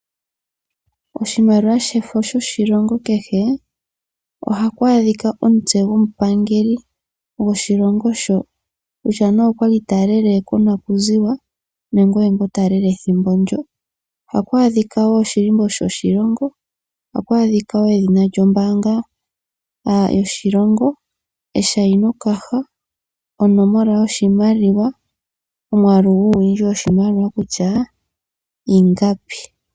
Oshimaliwa shefo lyoshilongo kehe ohaku adhika omutse gomupangeli goshilongo shoka, kutya ne okwali ta lele monakuziwa nenge ongoka ta lele ethimbo ndyoka. Ohaku adhika wo oshilimbo sho shilongo, ohaku adhika wo edhina lyombanga yoshilongo, eshaino kaha, onomola yoshimaliwa no mwaalu guuwindji woshimaliwa kutya iingapi.